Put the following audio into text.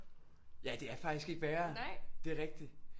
Ja det er faktisk ikke værre det er rigtigt